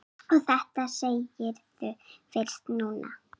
Og þetta segirðu fyrst núna.